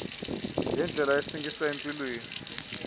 yendlela esingisa empilweni